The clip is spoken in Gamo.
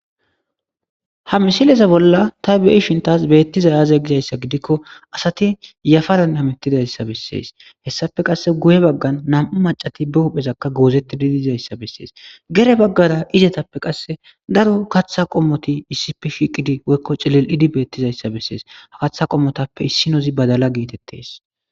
ha misileza bolla ta be7shin taas beettizay aaze gizayssa gidikko asati yafaran hamittidayssa bessees hessafe qasse guye baggan nam7u macati be huphezakka goozettidi diizayssa bessees gede baggara izetappe qasse daro gatha qommoti issi pifiqidi woykko cilil7idi beettizayssa bessees ha katha qommotappe issinozi badala geetettees.